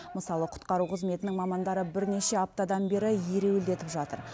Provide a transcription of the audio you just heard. мысалы құтқару қызметінің мамандары бірнеше аптадан бері ереуілдетіп жатыр